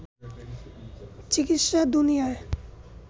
চিকিৎসা দুনিয়ায়